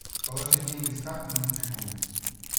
положить деньги с карты на телефон